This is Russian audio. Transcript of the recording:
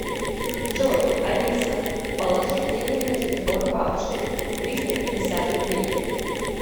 джой алиса положи деньги на телефон бабушке триста пятьдесят рублей